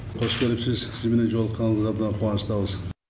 қош келіпсіз сізбенен жолыққанымызға мына қуаныштамыз